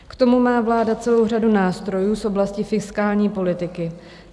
K tomu má vláda celou řadu nástrojů z oblasti fiskální politiky.